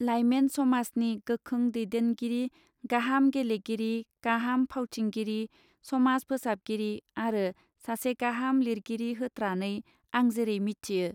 Lyman समाजनि गोखों दैदेनगिरि गाहाम गेलेगिरि गाहाम फावथिंगिरि समाज फोसाबगिरि आरो सासे गाहाम लिरगिरि होत्रानै आं जेरै मिथियो.